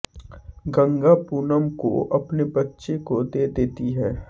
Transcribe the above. गंगा पूनम को अपने बच्चे को दे देती है